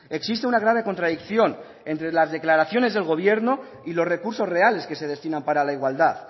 existe una grave contradicción entre las declaraciones del gobierno y los recursos reales que se destinan para la igualdad